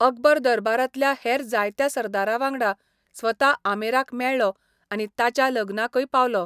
अकबर दरबारांतल्या हेर जायत्या सरदारांवांगडा स्वता आमेराक मेळ्ळो आनी ताच्या लग्नाकय पावलो.